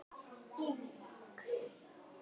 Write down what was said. í Vík.